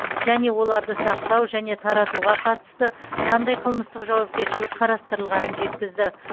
және оларды сақтау және таратуға қатысты қандай қылмыстық жауапкершілік қарастырылғанын жеткізді